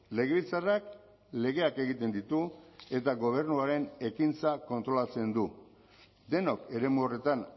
legebiltzarrak legeak egiten ditu eta gobernuaren ekintza kontrolatzen du denok eremu horretan